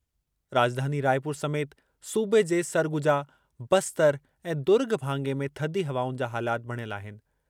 राॼधानी रायपुर समेति सूबे जे सरगुजा, बस्तर ऐं दुर्ग भाङे में थधी हवाउनि जा हालात बणियल आहिनि।